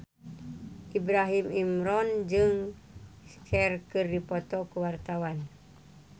Ibrahim Imran jeung Cher keur dipoto ku wartawan